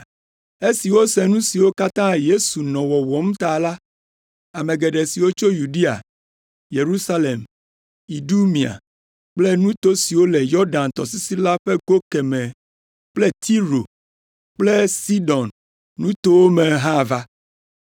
Esi wose nu siwo katã Yesu nɔ wɔwɔm ta la, ame geɖe siwo tso Yudea, Yerusalem, Idumea kple nuto siwo le Yɔdan tɔsisi la ƒe go kemɛ kple Tiro kple Sidon nutowo me hã va.